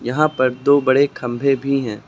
यहाँ पर दो बड़े खम्भे भी हैं।